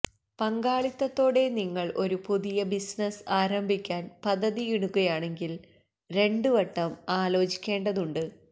പങ്കാളിത്തത്തോടെ നിങ്ങള് ഒരു പുതിയ ബിസിനസ്സ് ആരംഭിക്കാന് പദ്ധതിയിടുകയാണെങ്കില് രണ്ട് വട്ടം ആലോചിക്കേണ്ടതുണ്ട്